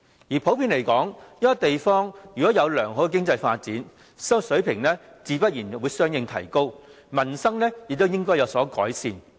而普遍來說，一個地方如果有良好的經濟發展，生活水平自然會相應提高，民生亦會有所改善。